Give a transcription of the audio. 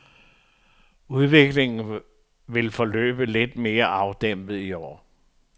Udviklingen vil forløbe lidt mere afdæmpet i år.